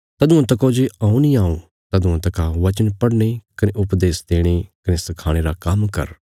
तदुआं तका जे हऊँ नीं आऊं तदुआं तका वचन पढ़ने कने उपदेश देणे कने सखाणे रा काम्म कर